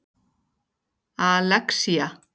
Alexía